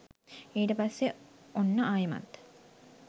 ඊට පස්සේ ඔන්න ආයෙමත්